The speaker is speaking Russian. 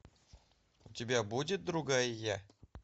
у тебя будет другая я